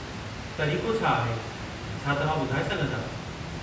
तरीक़ो छा आहे , छा तव्हां ॿुधाऐ सघिन्दा?